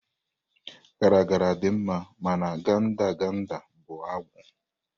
Garagara dị mma mana gadangada bụ agwụ.